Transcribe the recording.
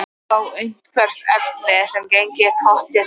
Fá eitthvert efni sem gengi pottþétt upp.